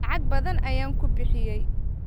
Lacag badan ayaan ku bixiyay.